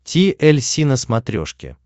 ти эль си на смотрешке